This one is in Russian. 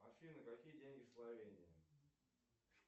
афина какие деньги в словении